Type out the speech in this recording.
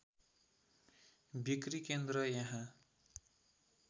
बिक्री केन्द्र यहाँ